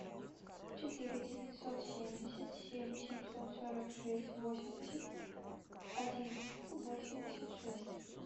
четыре девятьсот семьдесят семь семьсот сорок шесть восемьдесят один восемьдесят шесть